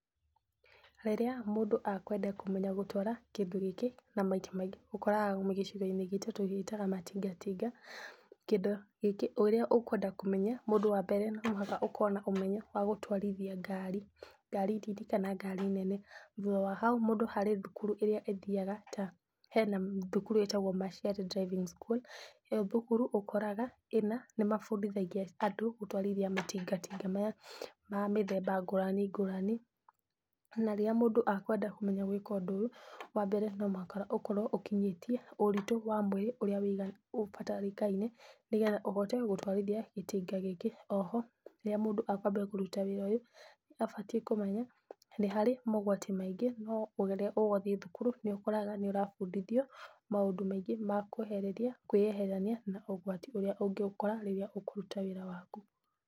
Rĩrĩa mũndũ akwenda kũmenya gũtwara kĩndũ gĩkĩ na maita maingĩ ũkoraga gĩcigo-inĩ gitũ tũgĩtaga matinga tinga. Kĩndũ gĩkĩ ũrĩa ũkwenda kũmenya, ũndũ wa mbere no nginya ũkorwo na ũmenyo wa gũtwarithia ngari. Ngari nini kana ngari nene. Thutha wa hau mũndũ harĩ thukuru ĩrĩa athiyaga ta hena cukuru ĩtagwo Marshel Driving School ĩyo thukuru ũkoraga nĩmabũndithagia andũ gũtwarithia matingatinga maya ma mĩthemba ngũrani ngũrani. Na rĩrĩa mũndũ akwenda kũmenya gwĩka ũndũ ũyũ, wa mbere no nginya ũkorwo ũkinyĩtie ũritũ wa mwĩrĩ ũrĩa ũbatarĩkaine, nĩgetha ũhote gũtwarithia gĩtinga gĩkĩ. Oho rĩrĩa mũndũ akwambia kũruta wĩra ũyũ, nĩ abatiĩ kũmenya nĩ harĩ mogwati maingĩ, no rĩrĩa ũgũthiĩ thukuru nĩũkoraga nĩ ũrabundithio maũndũ maingĩ ma kwehereria kwĩyeherania na ũgwati ũrĩa ũngĩgũkora rĩrĩa ũkũruta wĩra waku.